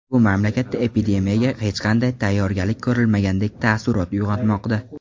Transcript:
Bu mamlakatda epidemiyaga hech qanday tayyorgarlik ko‘rilmagandek taassurot uyg‘onmoqda.